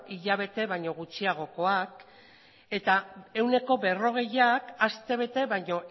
hilabete baino gutxiagokoak eta ehuneko berrogeiak aste bete baino